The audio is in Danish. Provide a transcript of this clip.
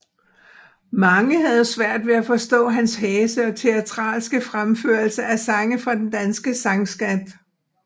Mange havde svært ved at forstå hans hæse og teatralske fremførelser af sange fra den danske sangskat